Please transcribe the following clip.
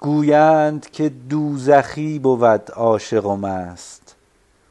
گویند که دوزخی بود عاشق و مست